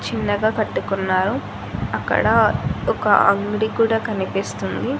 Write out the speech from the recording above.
చిన్నగా కట్టుకున్నారు అక్కడ ఒక అంగడి కూడా కనిపిస్తుంది.